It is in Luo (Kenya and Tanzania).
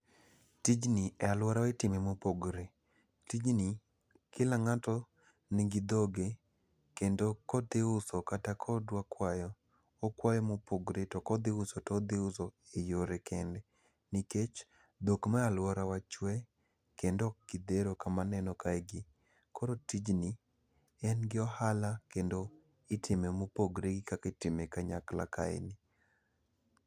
Tijni e alworawa itime mopogore. Tijni, kila ng'ato nigi dhoge, kendo kodhi uso kata kodwa kwayo, okwaye mopogore, to kodhi uso to odhi uso e yore kende nikech, dhok ma alworawa chuwe, kendo ok gidhero kama aneno kaegi. Koro tijni, en ni ohala kendo itime mopogre gi kaka itime gi kanyakla kaeni.